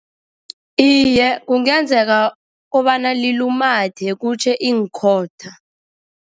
Iye, kungenzeka kobana lilumathe kutjhe iinkhotha.